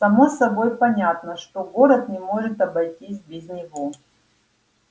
само собой понятно что город не может обойтись без него